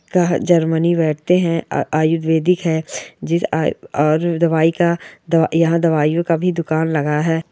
--का जर्मनी बैठते है और आयुर्वेदिक है जिस आय और दवाई का यहाँ दवाइयों का भी दुकान लगा है।